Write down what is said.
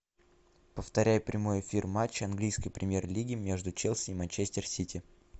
повторяй прямой эфир матча английской премьер лиги между челси и манчестер сити